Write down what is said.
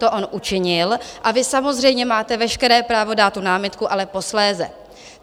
To on učinil a vy samozřejmě máte veškeré právo dát tu námitku, ale posléze.